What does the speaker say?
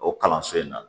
O kalanso in na